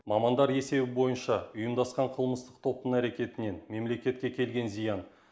мамандар есебі бойынша ұйымдасқан қылмыстық топтың әрекетінен мемлекетке келген зиян